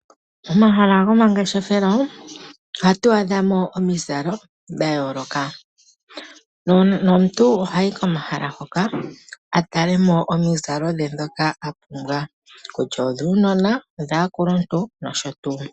Momahala gomangeshefelo ohatu adhamo omizalo. Omuntu ohayi komahala hoka aka tale omizalo ndhoka ahala kutya odhuunona odhakuluntu nosho tuu.